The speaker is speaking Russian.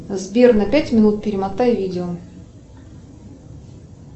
сбер на пять минут перемотай видео